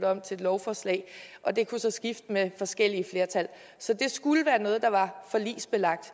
om til et lovforslag og det kunne så skifte med forskellige flertal så det skulle være noget der var forligsbelagt